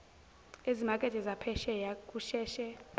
ezimakethe zaphesheya kusheshe